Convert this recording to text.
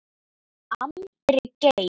Andri Geir.